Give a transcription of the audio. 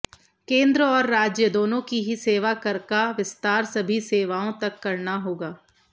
केंद्र और राज्य दोनों की ही सेवा कर का विस्तार सभी सेवाओं तक करना होगा